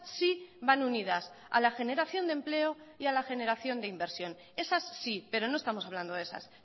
sí van unidas a la generación de empleo y a la generación de inversión esas sí pero no estamos hablando de esas